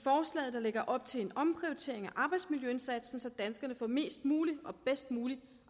der lægger op til en omprioritering af arbejdsmiljøindsatsen så danskerne får mest muligt og bedst muligt